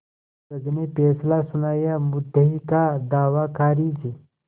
जज ने फैसला सुनायामुद्दई का दावा खारिज